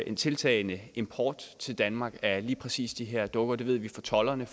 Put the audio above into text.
en tiltagende import til danmark af lige præcis de her dukker det ved vi fra tolderne